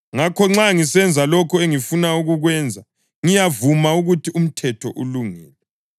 Ngakho nxa ngisenza lokho engingafuni kukwenza, ngiyavuma ukuthi umthetho ulungile.